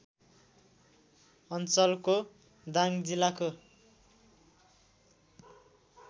अञ्चलको दाङ जिल्लाको